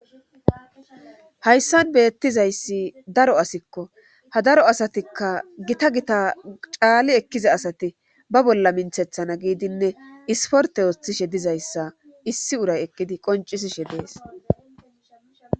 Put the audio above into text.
Hayssan beettizayssi daro asikko ha daro asatikka gita gita caali ekkiza asati ba bolla minthethana giidinne isporte ooththishe dizayssa issi uray ekkidi qoncisishe dees.